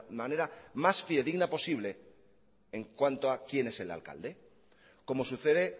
manera más fidedigna posible en cuanto a quién es el alcalde como sucede